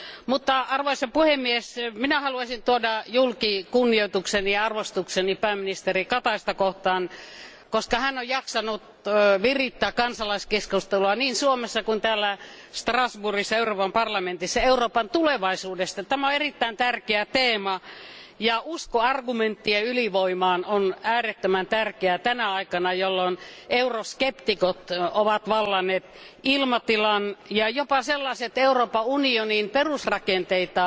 Mutta arvoisa puhemies, minä haluaisin tuoda julki kunnioitukseni ja arvostukseni pääministeri Kataista kohtaan, koska hän on jaksanut virittää kansalaiskeskustelua niin Suomessa kuin täällä Strasbourgissa Euroopan parlamentissa Euroopan tulevaisuudesta. Tämä on erittäin tärkeä teema, ja usko argumenttien ylivoimaan on äärettömän tärkeää tänä aikana, jolloin euroskeptikot ovat vallanneet ilmatilan, ja jopa sellaiset Euroopan unionin perusrakenteita